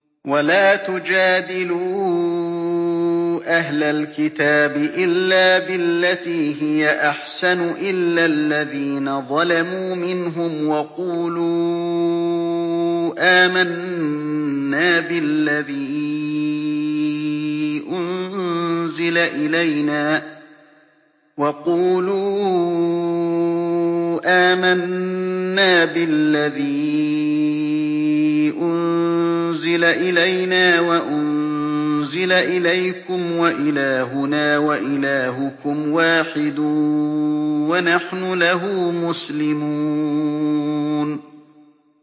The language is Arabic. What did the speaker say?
۞ وَلَا تُجَادِلُوا أَهْلَ الْكِتَابِ إِلَّا بِالَّتِي هِيَ أَحْسَنُ إِلَّا الَّذِينَ ظَلَمُوا مِنْهُمْ ۖ وَقُولُوا آمَنَّا بِالَّذِي أُنزِلَ إِلَيْنَا وَأُنزِلَ إِلَيْكُمْ وَإِلَٰهُنَا وَإِلَٰهُكُمْ وَاحِدٌ وَنَحْنُ لَهُ مُسْلِمُونَ